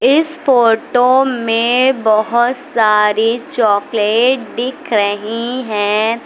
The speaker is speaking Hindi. इस फोटो में बहुत सारे चॉकलेट दिख रही हैं।